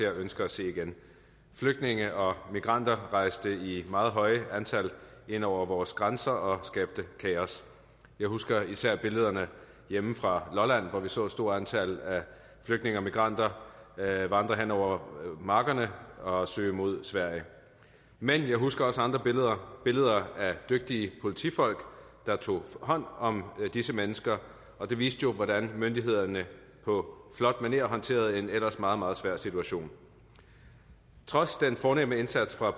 ønsker at se igen flygtninge og migranter rejste i et meget højt antal ind over vores grænser og skabte kaos jeg husker især billederne hjemme fra lolland hvor vi så et stort antal flygtninge og migranter vandre hen over markerne og søge mod sverige men jeg husker også andre billeder billeder af dygtige politifolk der tog hånd om disse mennesker og det viste jo hvordan myndighederne på flot manér håndterede en ellers meget meget svær situation trods den fornemme indsats fra